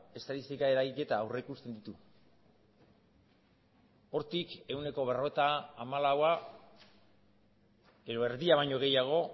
estatistika eragiketa aurrikusten ditu hortik ehuneko berrogeita hamalaua edo erdia baino gehiago